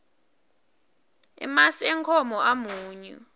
emasi enkhomo amunyu